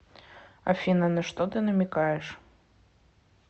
афина на что ты намекаешь